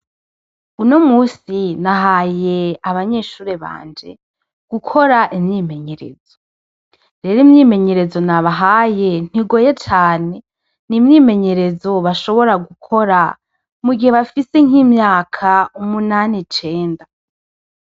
Uno musi, nahaye abanyeshure banje, gukora imyimenyerezo. Rero imyimenyerezo nabahaye, ntigoye cane . N'imyimenyerezo bashobora gukora, mugihe bafise nk'imyaka umunan' icenda.